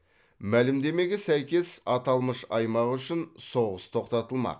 мәлімдемеге сәйкес аталмыш аймақ үшін соғыс тоқтатылмақ